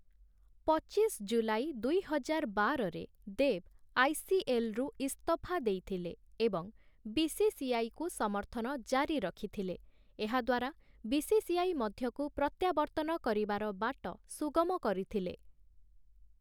ପଚିଶ ଜୁଲାଇ ଦୁଇ ହଜାର ବାରରେ ଦେବ୍‌ ଆଇ.ସି.ଏଲ୍‌. ରୁ ଇସ୍ତଫା ଦେଇଥିଲେ ଏବଂ ବି.ସି.ସି.ଆଇ.କୁ ସମର୍ଥନ ଜାରି ରଖିଥିଲେ, ଏହା ଦ୍ୱାରା ବି.ସି.ସି.ଆଇ. ମଧ୍ୟକୁ ପ୍ରତ୍ୟାବର୍ତ୍ତନ କରିବାର ବାଟ ସୁଗମ କରିଥିଲେ ।